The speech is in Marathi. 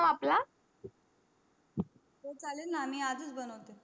हो चालेल मी आजच बनवते